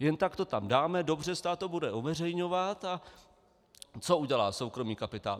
Jen tak to tam dáme, dobře, stát to bude uveřejňovat - a co udělá soukromý kapitál?